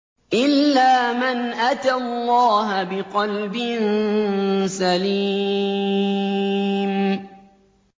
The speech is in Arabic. إِلَّا مَنْ أَتَى اللَّهَ بِقَلْبٍ سَلِيمٍ